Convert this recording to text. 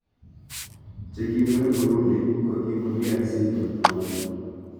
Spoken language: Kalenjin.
Chekimwee Burundi kokipun DRC koit Rwanda